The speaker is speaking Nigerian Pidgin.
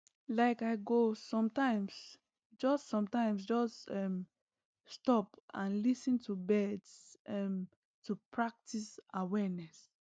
like i go sometimes just sometimes just um stop and lis ten to birds um to practice awareness